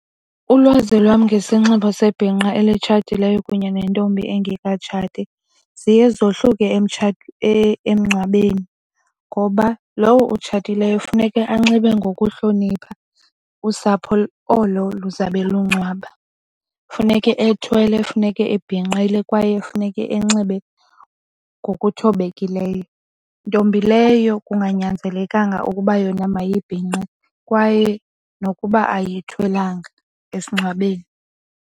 Ulwazi lwam ngesinxibo sebhinqa elitshatileyo kunye nentombi engekatshati ziye zohluke emngcwabeni ngoba lowo otshatileyo funeke anxibe ngokuhlonipha usapho olo lizabe lungcwaba. Kufuneke ethwele, funeke abhinqile kwaye funeke enxibe ngokuthobekileyo, ntombi leyo kunganyanzelekanga ukuba yona mayibhinqe kwaye nokuba ayithwelanga esingcwabeni.